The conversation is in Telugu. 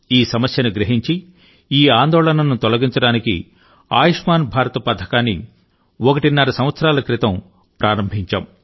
ఈ సమస్యను గ్రహించి ఈ ఆందోళనను తొలగించడానికి ఆయుష్మాన్ భారత్ పథకాన్ని ఒకటిన్నర సంవత్సరాల క్రితం ప్రారంభించాము